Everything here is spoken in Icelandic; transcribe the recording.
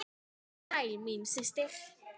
Svo vertu sæl, mín systir!